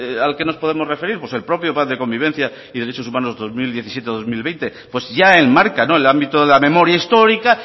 al que nos podemos referir pues el propio plan de convivencia y derechos humanos dos mil diecisiete dos mil veinte pues sí ya enmarca el ámbito de la memoria histórica